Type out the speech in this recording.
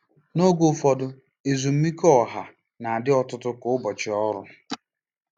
N'oge ụfọdụ, ezumike ọha na-adị ọtụtụ ka ụbọchị ọrụ.